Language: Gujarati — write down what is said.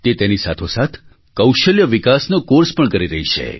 તે તેની સાથોસાથ કૌશલ્ય વિકાસનો કૉર્સ પણ કરી રહી છે